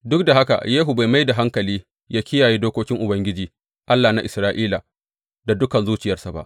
Duk da haka, Yehu bai mai da hankali ya kiyaye dokokin Ubangiji, Allah na Isra’ila da dukan zuciyarsa ba.